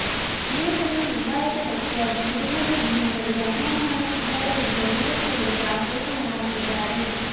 ವೀರಶೈವ ಲಿಂಗಾಯತ ವ್ಯಕ್ತಿಯಾಗಿ ಕುಟುಂಬದ ಹೆಣ್ಣುಮಗಳಿಗೆ ಅನ್ಯಾಯ ಮಾಡುತ್ತಿದ್ದಾರೆ ಎಂದು ಯಡಿಯೂರಪ್ಪ ವಿರುದ್ಧ ಆಕ್ರೋಶ ಹೊರಹಾಕಿದ್ದಾರೆ